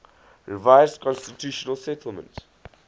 revised constitutional settlement